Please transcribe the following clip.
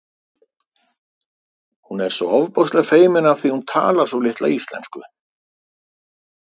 Hún er svo ofboðslega feimin af því að hún talar svo litla íslensku